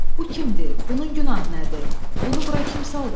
Bu kimdir? Bunun günahı nədir? Bunu bura kim saldırıb?